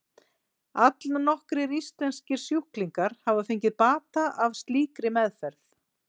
allnokkrir íslenskir sjúklingar hafa fengið bata af slíkri meðferð